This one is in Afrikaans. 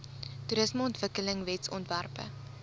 toerismeontwikkelingwetsontwerpe